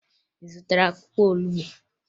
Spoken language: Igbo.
Ị zụtara akwụkwọ olubu?